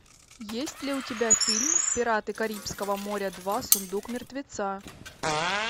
есть ли у тебя фильм пираты карибского моря два сундук мертвеца